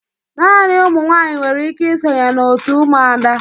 Naanị ụmụ nwaanyị nwere ike ịsonye na òtù Umuada.